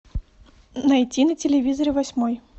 найти на телевизоре восьмой